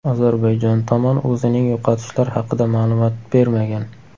Ozarbayjon tomon o‘zining yo‘qotishlar haqida ma’lumot bermagan.